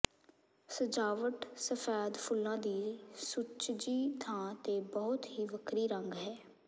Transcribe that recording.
ਸਜਾਵਟ ਸਫੈਦ ਫੁੱਲਾਂ ਦੀ ਸੁਚੱਜੀ ਥਾਂ ਤੇ ਬਹੁਤ ਹੀ ਵੱਖਰੀ ਰੰਗ ਹੈ